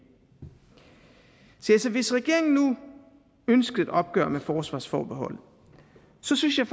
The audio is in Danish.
hvis regeringen nu ønsker et opgør med forsvarsforbeholdet synes jeg